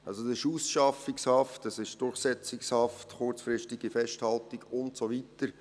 Das ist Ausschaffungshaft, Durchsetzungshaft, kurzfristige Festhaltung und so weiter.